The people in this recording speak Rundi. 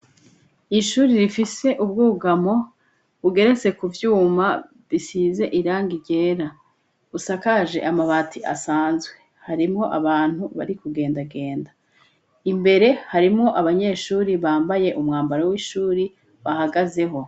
Ishuri rifise ubwugamo bugeretse kuvyuma bisize irangi ryera busakaje amabati asanzwe, harimo abantu bari kugenda genda. Imbere harimwo abanyeshuri bambaye umwambaro w'ishuri bahagazeho.